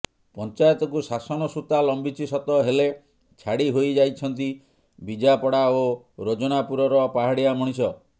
ପଞ୍ଚାୟତକୁ ଶାସନ ସୂତା ଲମ୍ବିଛି ସତ ହେଲେ ଛାଡି ହୋଇଯାଇଛନ୍ତି ବିଜାପଡା ଓ ରୋଜନାପୁରର ପାହାଡିଆ ମଣିଷ